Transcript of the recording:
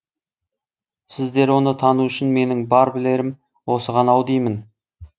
сіздер оны тану үшін менің бар білерім осы ғана ау деймін